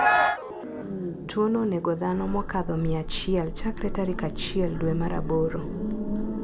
Tuono onego dhano mokadho mia achiel chakre tarik achiel due mar aboro.